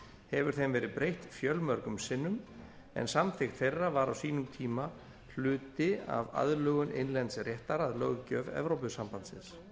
hefur þeim verið breytt fjölmörgum sinnum en samþykkt þeirra var á sínum tíma hluti af aðlögun innlends réttar að löggjöf evrópusambandsins